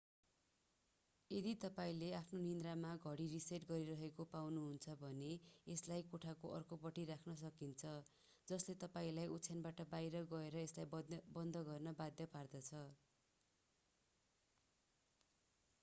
यदि तपाईंले आफ्नो निद्रामा घडी रिसेट गरिरहेको पाउनुहुन्छ भने यसलाई कोठाको अर्को पट्टि राख्न सकिन्छ जसले तपाईंलाई ओछयानबाट बाहिर गएर यसलाई बन्द गर्न बाध्य पार्दछ